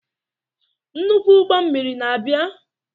Nnukwu ụgbọ mmiri na-abịa?